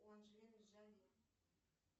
у анджелины джоли